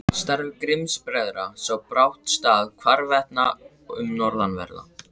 Starfi Grimms-bræðra sá brátt stað hvarvetna um norðanverða